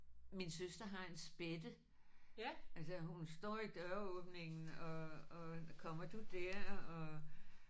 Min søster har en spætte. Altså hun står i døråbningen og og kommer du der og